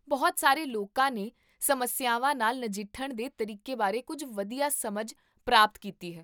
ਬਹੁਤ ਸਾਰੇ ਲੋਕਾਂ ਨੇ ਸਮੱਸਿਆਵਾਂ ਨਾਲ ਨਜਿੱਠਣ ਦੇ ਤਰੀਕੇ ਬਾਰੇ ਕੁੱਝ ਵਧੀਆ ਸਮਝ ਪ੍ਰਾਪਤ ਕੀਤੀ ਹੈ